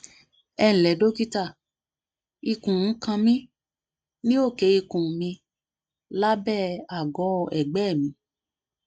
ẹ ǹlẹ dókítà ikùn ń kan mí ní òkè ikùn milábẹ àgọ ẹgbẹ mi